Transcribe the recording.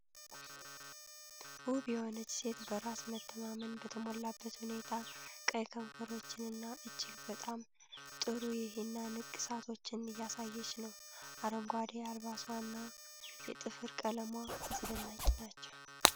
ውብ የሆነች ሴት በራስ መተማመን በተሞላበት ሁኔታ ቀይ ከንፈሮችንና እጅግ በጣም ጥሩ የሂና ንቅሳቶችን እያሳየች ነው። አረንጓዴ አልባሷና የጥፍር ቀለሟ አስደናቂ ናቸው።